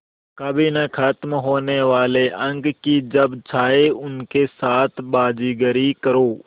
कभी न ख़त्म होने वाले अंक कि जब चाहे उनके साथ बाज़ीगरी करो